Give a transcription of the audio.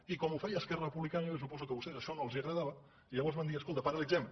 i com ho feia esquerra republicana jo suposo que a vostès això no els agradava i llavors van dir escolta paralitzem ho